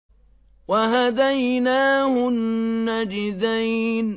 وَهَدَيْنَاهُ النَّجْدَيْنِ